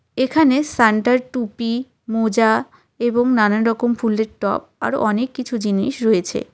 এখানে সান্টার টুপি মোজা এবং নানান রকম ফুলের টব আরও অনেক কিছু জিনিস রয়েছে.